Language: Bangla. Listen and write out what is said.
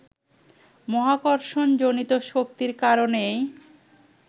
মহাকর্ষণ-জনিত শক্তির কারণেই